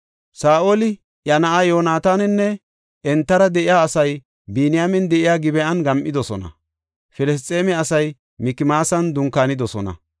Saa7oli, iya na7aa Yoonataaninne entara de7iya asay Biniyaamen de7iya Gib7an gam7idosona; Filisxeeme asay Mikmaasan dunkaanidosona.